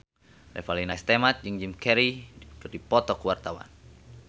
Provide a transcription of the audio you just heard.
Revalina S. Temat jeung Jim Carey keur dipoto ku wartawan